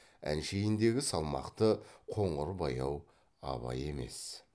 әншейіндегі салмақты қоңыр баяу абай емес